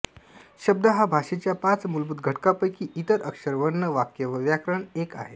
शब्द हा भाषेच्या पाच मूलभूत घटकांपैकी इतर अक्षर वर्ण वाक्य व व्याकरण एक आहे